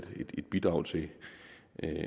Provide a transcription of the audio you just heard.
et bidrag til